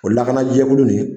O lakanajɛkulu ni.